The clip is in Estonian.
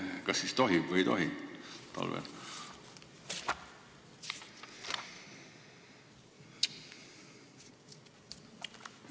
Kas siis tohib või ei tohi talvel seda väetist laotada?